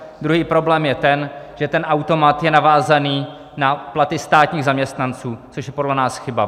Druhý problém je ten, že ten automat je navázaný na platy státních zaměstnanců, což je podle nás chyba.